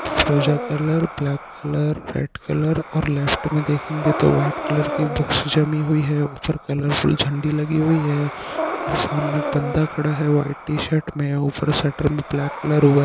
ऊजा colour black colour white colour और left में देखंगे तो व्हाइट कलर की बुक्स जमी हुई है ऊपर कलरफुल झंडी लगी हुई है और सामने एक बंदा खड़ा है व्हाइट टीशर्ट में ऊपर सेंटर में ब्लैक कलर हुआ।